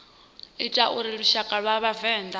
ita uri lushaka lwa vhavenḓa